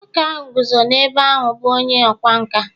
nwoke ahụ guzo n’ebe ahụ bụ onye ọkwá nkà